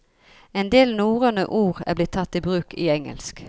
En del norrøne ord er blitt tatt i bruk i engelsk.